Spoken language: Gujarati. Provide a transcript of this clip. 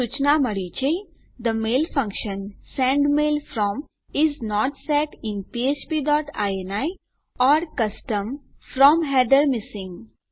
એક સુચના મળી છે the mail function send mail from is not set in ફ્ફ્પ dot ini or custom From header missing